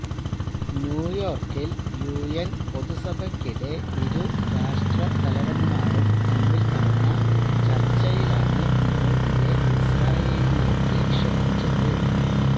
ന്യൂയോര്ക്കില് UN പൊതുസഭയ്ക്കിടെ ഇരു രാഷ്ട്രത്തലവന്മാരും തമ്മില് നടന്ന ചര്ച്ചയിലാണ് മോദിയെ ഇസ്രായേലിലേക്ക് ക്ഷണിച്ചത്